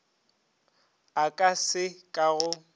a ka se ka go